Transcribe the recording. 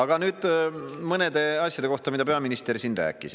Aga nüüd mõnest asjast, mida peaminister siin rääkis.